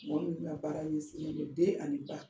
Mɔgɔ minnu ka baara ɲɛsinnen don den ani ba